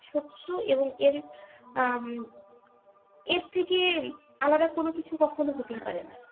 সত্য এবং এর উম এর থেকে আলাদা কোন কিছু কখনই হতেই পারে নাহ